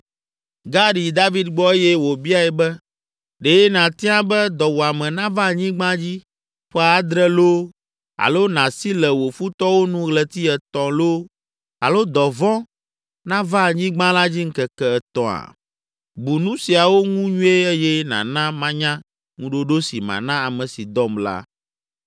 Gad yi David gbɔ eye wòbiae be, “Ɖe nàtia be dɔwuame nava anyigba dzi ƒe adre loo, alo nàsi le wò futɔwo nu ɣleti etɔ̃ loo, alo dɔvɔ̃ nava anyigba la dzi ŋkeke etɔ̃a? Bu nu siawo ŋu nyuie eye nàna manya ŋuɖoɖo si mana ame si dɔm la.”